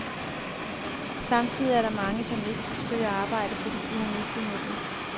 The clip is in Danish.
Samtidig er der mange, som ikke søger arbejde, fordi de har mistet modet.